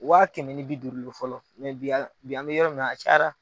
Wa kɛmɛ ni b duuru fɔlɔ bi an bi an bɛ yɔrɔ min a ca